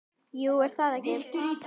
Jú, er það ekki?